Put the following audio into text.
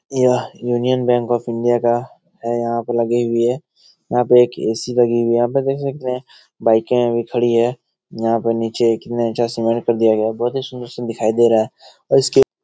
यह union bank of India का है यहाँ पर लगे हुए यहाँ पर एक ए.सी. लगी हुई है यहाँ देख सकते हैं बाइकें भी खड़ी हुई हैं यहाँ पे नीचे एक सीमेंट कर दिया गया है बहुत ही सुन्दर-सुन्दर दिखाई दे रहा है और इसके --